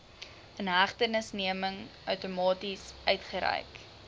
inhegtenisneming outomaties uitgereik